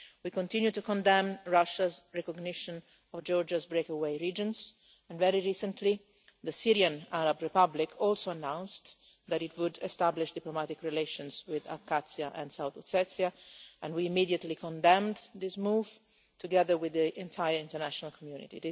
We continue to condemn Russia's recognition of Georgia's breakaway regions, and very recently the Syrian Arab Republic also announced that it would establish diplomatic relations with Abkhazia and South Ossetia, and we immediately condemned this move, together with the entire international community.